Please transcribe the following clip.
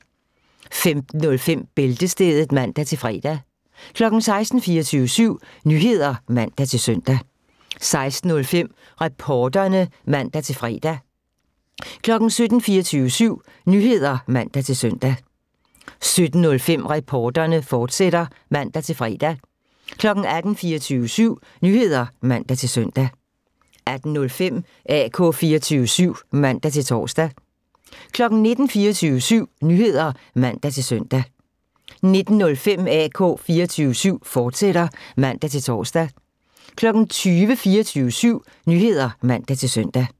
15:05: Bæltestedet (man-fre) 16:00: 24syv Nyheder (man-søn) 16:05: Reporterne (man-fre) 17:00: 24syv Nyheder (man-søn) 17:05: Reporterne, fortsat (man-fre) 18:00: 24syv Nyheder (man-søn) 18:05: AK 24syv (man-tor) 19:00: 24syv Nyheder (man-søn) 19:05: AK 24syv, fortsat (man-tor) 20:00: 24syv Nyheder (man-søn)